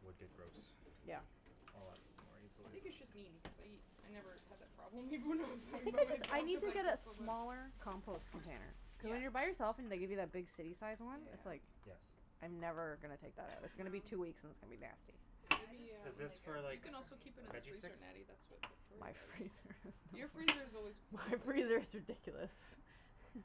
would get gross Yeah A lot more I easily think it's just me because I I never had that problem even when I was living by I myself need cuz to I get a get so much smaller compost container Yeah When you're by yourself and they give you that big city sized one, it's Yeah like, Yes I'm never gonna take that out, it's gonna be two weeks and it's gonna be nasty I just Natty have Is um, this like a, for you like can also Rubbermaid keep it in the veggie freezer sticks? Natty, that's what Yeah Courtney does My freezer Your is freezer is always full. My freezer is ridiculous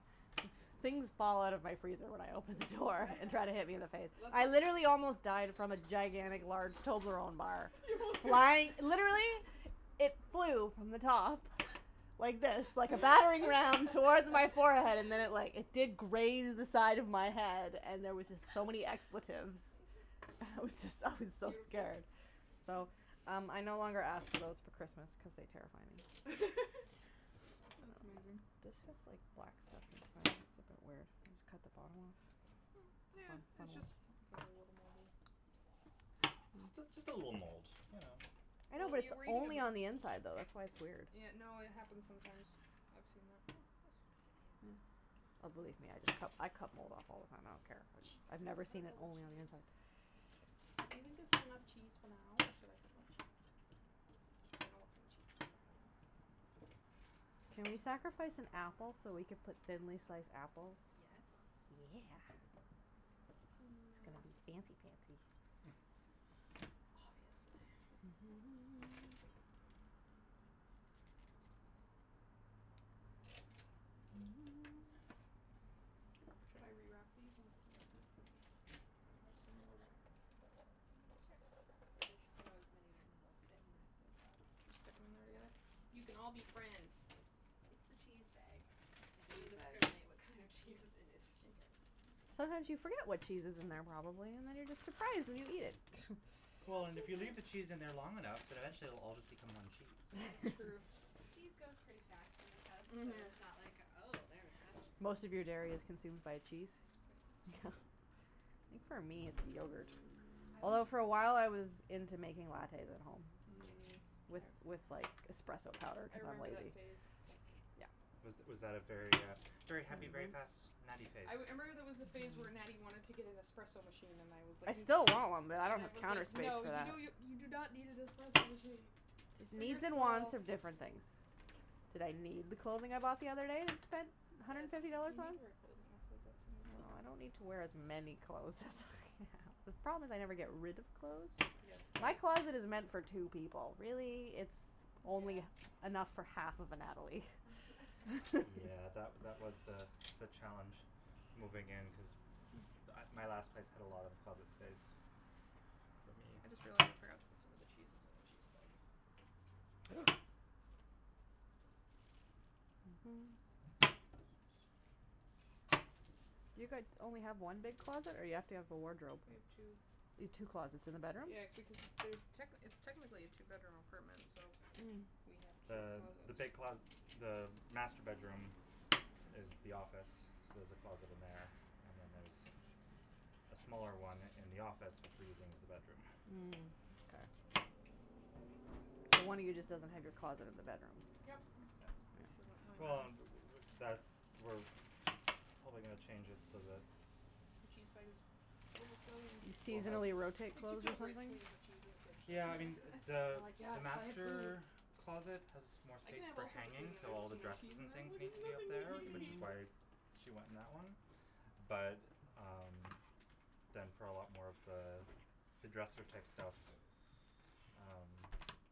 Things fall out of my freezer when I open the door and try to hit me in the face. Let's I literally almost died from a gigantic large Toblerone bar, flying, literally, it flew from the top, like this, like a battering ram, towards my forehead and then it like, it did graze the side of my head and there was just so many expletives. I was just, I was so Beautiful scared So, um I no longer ask for those for Christmas cuz they terrify me. That's amazing This has like black stuff it's a bit weird, just cut the bottom off Mm, yeah, it's just, cut a little Just a, just a little mold, you know I know but it's only on the inside though, that's why it's weird Yeah, no, it happens sometimes, I've seen that I hate it when it happens. Oh believe me I d- I cut mold off all the time, I don't care. I've never Cut seen up it all the only on the cheese inside I think enough cheese for now, or should I cut more cheese? I don't want no cheese Can we sacrifice an apple so we can put thinly sliced apples? Yes Yeah It's gonna Mm be fancy pancy Oh yes Should I re-wrap these and put them back in the fridge? some more wrap Mm sure. Or just throw as many will fit in that zip-lock, and just You can all be friends. It's the cheese bag, it Cheese doesn't bag. discriminate what kind of cheese is in it. Mkay Sometimes you forget what cheese is in their probably and then you're just surprised when you eat it Well and if you leave the cheese in there long enough then eventually it will all just become one cheese That's true. Cheese goes pretty fast in this house, so Mhm it's not like oh there's that che- Most of your dairy is consumed by cheese Pretty Yeah. much. I think for me it's yogurt Although for awhile I was into making lattes at home Mm With with like espresso powder I cuz I'm remember that lazy phase Yeah Was was that a very uh very happy, very fast Natty phase? I wou- I remember there was a phase where Natty wanted to get an espresso machine and I was like, I n- still want one but I , and don't I have the was counter like, space "No for you that. don't n- , you do not need an espresso machine" Cuz For needs and wants yourself are different things. Did I need the clothing I bought the other day and spent a hundred Yes, and fifty dollars you need on? to wear clothing, that's a that's an Well important I don't need to wear as many clothes as I have. The problem is I never get rid of clothes. Yes My closet is meant for two people really, it's only Yeah enough for half of a Natalie. Yeah that wa- that was the the challenge moving in cuz m- my last place had a lot of closet space, for me I just realized I forgot to put some of the cheeses on the cheese plate Ooh. You guys only have one big closet or you have to have a wardrobe? We have two. You have two closets in the bedroom? Yeah techni- it's technically a two bedroom apartment, so, Mm. we have two Uh, closets the big closet, the master bedroom is the office so there's a closet in there and then there's a smaller one in the office which we're using as the bedroom Mm k So one of you just doesn't have your closet in the bedroom Yep Yeah. Well and w- w- that's we probably gonna change it so that the cheese Overflowing You We'll have seasonally rotate clothes or rich something? when you have cheese in the fridge so Yeah I mean the I'm like, the "Yes, so much food." master closet has more I can space have for all sorts of food hanging and then so all there's the no cheese dresses in and there, I'm things like, need to be up "Nothing there which to is eat." why she went in that one, but um, then for a lot more of the, the dresser type stuff um,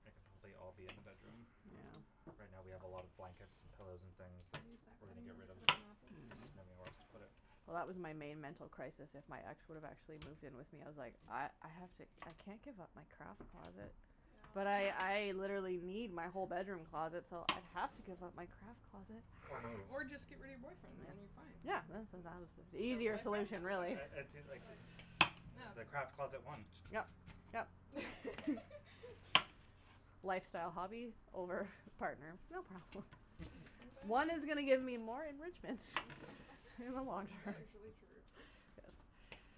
like I'll I'll be in the bedroom. Mhm. Yeah Right now we have a lot of blankets and pillows and things, that, Can we use that we're gonna cutting get board to rid of, cut up an apple? just didn't have anywhere else to put it Well that was my main mental crisis if my ex would've actually moved in with me, I was like "I, I have to, I can't give up my craft closet", but I, I literally need my whole bedroom closet so I have to give up my craft closet Or move Or just get rid of your boyfriend then you're fine Yeah The easier solution really the craft closet won Yep yep Lifestyle hobby over partner? No problem. One is gonna get me more enrichment in the long term.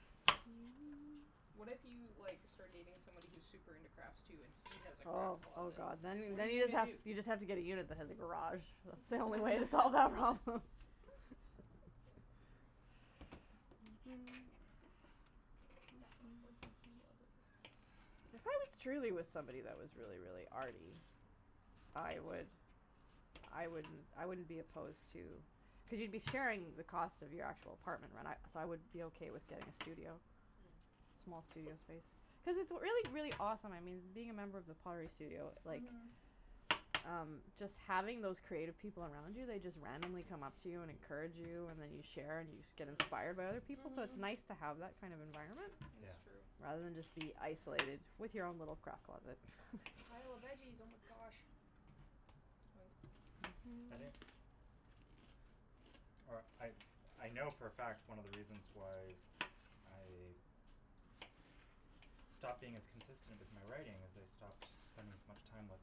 What if you like, start dating somebody who's super into crafts too and he has a Oh craft oh closet? god. Then, What are then you you just gonna have, do? you just have to get a unit that has a garage. That's the only way to solve that problem. That's not working If I was truly with somebody that was really really arty, I would, I wouldn't, I wouldn't be opposed to, cuz you'd be sharing the cost of your actual apartment right, and I, so I would be okay with getting a studio. Mhm. Small studio space. Cuz it's really really awesome, I mean, being a member of the studio, like, Mhm um, just having those creative people around you, they just randomly come up to you and encourage you, and then you share and you get inspired by other Mm people, so it's nice Mhm to have that kind of environment, Is Yeah true rather than just be isolated with your own little craft closet. Pile of veggies oh my gosh Or I, I know for a fact one of the reasons why I stopped being as consistent with my writing, is I stopped spending as much time with,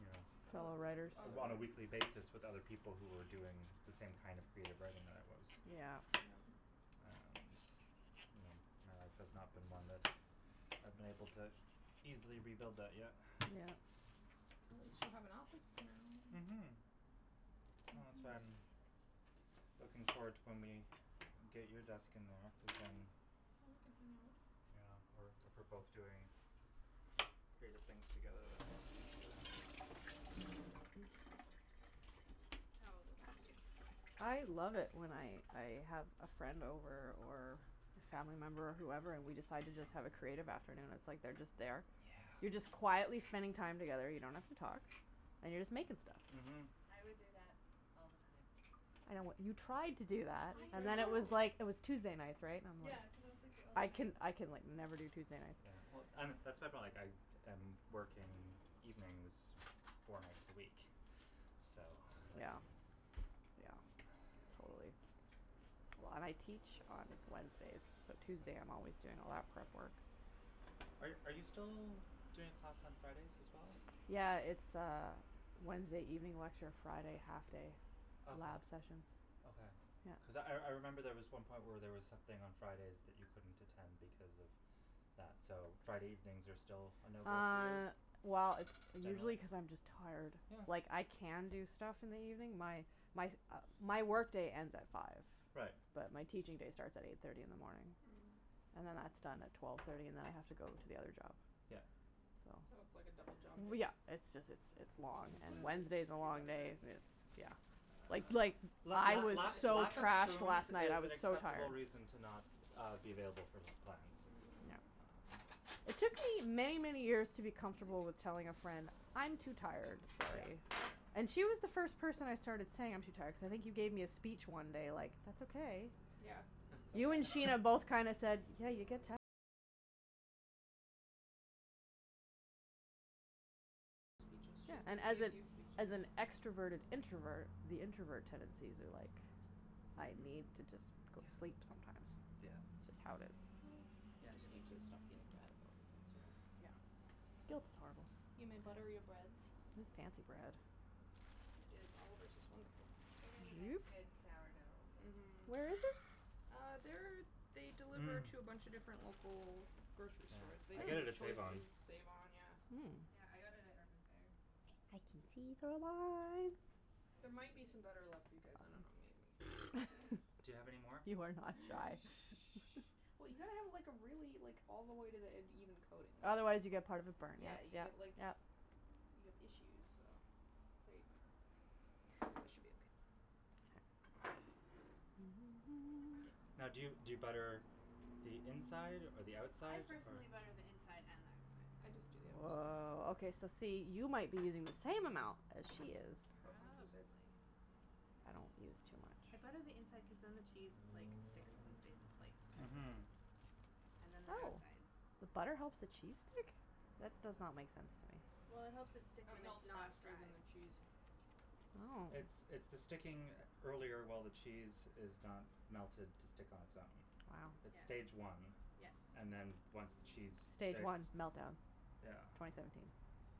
you Fellow writers know, on a weekly basis with other people who were doing the same kind of creative writing that I was Yeah Yeah And, you know, my life has not been one that I've been able to easily rebuild that yet Yeah At least you have an office now. Mhm Well that's why I'm, looking forward to when we, get you a desk in there, Yeah, cuz then then we can hang out Yeah we're if we're both doing creative things together that makes it easier Tells about you. I love it when I I have a friend over or a family member whoever and we decide to just have a creative afternoon, it's like they're just there Yeah You're just quietly spending time together, you don't have to talk, and you're just making stuff Mhm I would do that all the time I know what, you tried to do that I and then it was know! like, it was Tuesday nights, right? And I'm li, Yeah cuz it was like the I only can night I can like never do Tuesday nights Yeah well Yeah and that's my point like I am working evenings four nights a week, so Yeah Yeah, totally Well and I teach on Wednesdays so Tuesday I'm always doing a lot of prep work. Are are you still doing a class on Fridays as well? Yeah it's uh Wednesday evening lecture Friday half day Okay. lab sessions Okay. Yeah Cuz I I remember there was one point where there was something on Fridays that you couldn't attend because of that so Friday evenings are still a no go for you, Uh, well it's usually generally? cuz I'm just tired. Yeah Like I can do stuff in the evening, my my my work day ends at five. Right But my teaching day starts at eight thirty in the morning. And then that's done at twelve thirty and then I have to go to the other job Yeah. So, So it's like a double job w day yeah, it's just it's it's long, Mmm and butter, Wednesday's a should we long butter day breads? s Yeah it's yeah Uh Like like, la I la was lack so lack of trashed spoons last night, I is sandwiches an was so acceptable tired. reason to not uh be available for plans. Yeah Um It took me many many years to be Thank comfortable with you. telling a friend "I'm too tired, Yeah sorry". And she was the first person I started saying "I'm too tired" cuz I think you gave me a speech one day like "that's okay". Yeah Yeah, and as a as an extroverted introvert, the introvert tendencies are like "I Mhm need to just go to sleep sometimes". Yeah yeah It's just how it is. Mm, you Yeah just it's need to stop feeling bad about it, that's all. Guilt's horrible. You may butter your breads. This fancy bread It is Oliver's, it's wonderful They get a nice Joop! good sourdough with Mhm Where is this? Uh, they're, they deliver Mmm to a bunch a different local grocery Yeah, stores, they I do get it at save-on Choices, save-on, yeah Mm Yeah I got it at Urban Fare I can see There might be cheese some butter left for you guys, I don't know maybe Do you have any more? You are not shy. Well you gotta have like a really, like all the way to the end even coating Otherwise you get part of it burned, Yeah yep you yep get like, yeah you have issues, so there you go That should be okay. Okay. Now do you do you butter the inside or the I outside or personally butter the inside and the outside. I just do the outside. Woah, okay so see, you might be using the same amount as she is. But on two sides Probably I don't use too much. I butter the inside cuz then the cheese like sticks and stays in place. Mhm And then the Oh! outside The butter helps the cheese stick? That Mhm does not make sense to me. Well it helps it stick It when it's melts not faster than fried. the cheese. Oh It's it's the sticking earlier while the cheese is not melted to stick on it's own. Wow It's stage Yeah one, Yes and then once the cheese Stage sticks, one meltdown, yeah twenty seventeen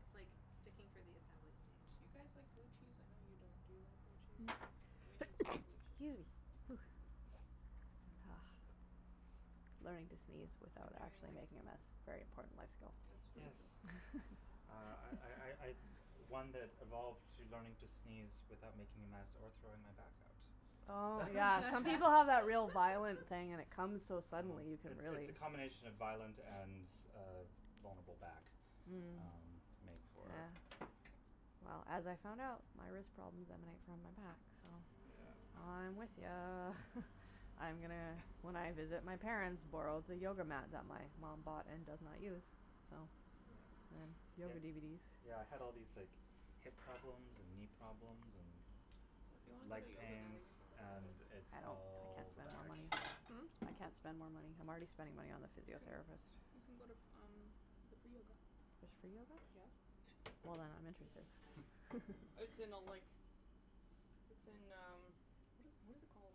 It's like, sticking for the assembly Do stage. you guys like blue cheese? I know you don't. Do you like blue cheese? Okay, we need some excuse more blue cheese. me, Ah Learning to sneeze I'm without doing actually like making a mess, very important life skill It's really Yes true Uh I I I I'm one that evolved to learning to sneeze without making a mess or throwing my back out. Oh yeah, some people have that real violent thing and it comes so Um, suddenly, you could it's it's really the combination of violent and uh vulnerable back, Mm um make for Yeah Well as I found out, my wrist problems emanate from my back. So, Mhm Yeah Mm I'm with ya. I am gonna, when I visit my parents borrow the yoga mat that my mom bought and does not use. So Yes, Mhm so yep, yoga DVDs yeah I had all these like hip problems and knee problems If you wanna and go leg to yoga Natty pains we can go together. and I can't it's all the spend more back money. Hmm? I can't spend more money. I'm already spending money on the You can, physiotherapist you can go to f um, the free yoga There's free yoga? Yep Well then I'm interested. Hm It's in a like, it's in um, what is what is it called?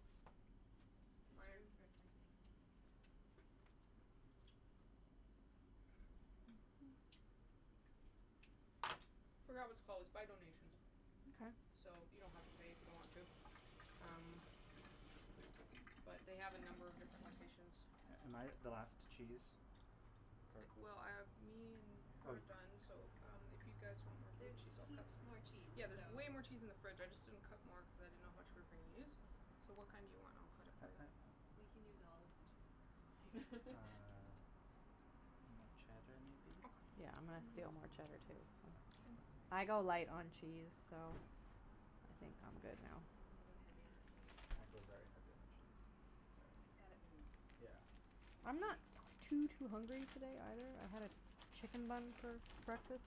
There's room for a second Forgot what it's called, it's by donation Okay So you don't have to pay if you don't want to, um, but they have a number of different locations. Am I the last cheese? Mkay Well, um, me and- Oh we're you done, so um, if you guys want more blue There's cheese I'll cut heaps some more cheese Yeah there's so way more cheese in the fridge I just didn't cut more cuz I didn't know how much we were gonna use So what kind do you want and I'll cut it I for you. I I We can use all of the cheese, it's fine. Uh, more cheddar maybe? Okay Yeah I'm gonna steal more cheddar too so Yeah Mkay I go light on cheese so, I Uh think I'm good now. I go heavy on the cheese. I go very heavy on the cheese. Sorry. It's gotta ooze. Yeah That's the I'm key. not too too hungry today either, I had a chicken bun for breakfast,